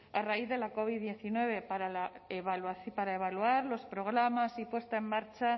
a raíz de la covid diecinueve para evaluar los programas y puesta en marcha